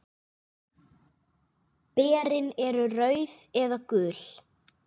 Berin eru rauð eða gul.